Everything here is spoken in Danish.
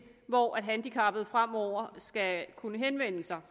hvor handicappede fremover skal kunne henvende sig